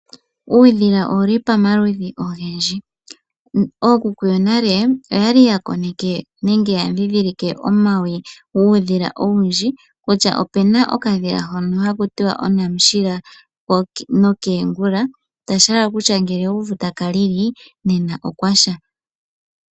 Uudhila owuli pamaludhi ogendji. Ookuku yonale oyali ya koneke nenge yadhidhilike omawi guudhila owundji. Kutya opuna okadhila hono haku tiwa onamushila nokeengula. Tashi hala kutya ngele owu uvu taka lili nena okwasha.